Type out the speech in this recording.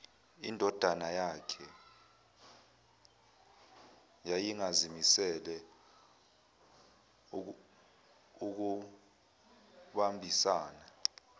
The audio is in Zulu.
indodanayakhe yayingazimisele ukubambisana